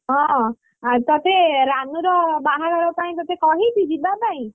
ହଁ ଆଉ ତତେ, ରାନୁର ବାହାଘର ପାଇଁ ତତେ କହିଛି ଯିବାପାଇଁ?